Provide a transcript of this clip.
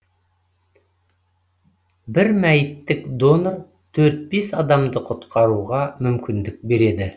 бір мәйіттік донор төрт бес адамды құтқаруға мүмкіндік береді